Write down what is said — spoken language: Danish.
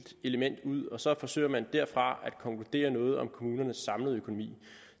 element ud og så forsøger man derfra at konkludere noget om kommunernes samlede økonomi